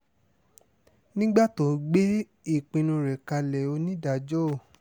nígbà tó ń gbé ìpinnu rẹ̀ kalẹ̀ onídàájọ́ o